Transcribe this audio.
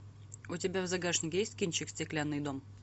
у тебя в загашнике есть кинчик стеклянный дом